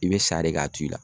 I be sa de k'a to i la